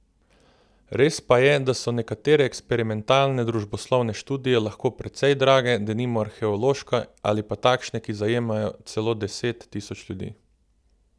Res pa je, da so nekatere eksperimentalne družboslovne študije lahko precej drage, denimo arheološke ali pa takšne, ki zajamejo celo deset tisoč ljudi.